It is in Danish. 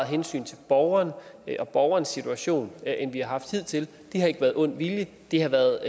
hensyn til borgeren og borgerens situation end vi har haft hidtil det har ikke været ond vilje det har været